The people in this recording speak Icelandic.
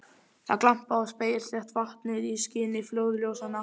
Það glampaði á spegilslétt vatnið í skini flóðljósanna.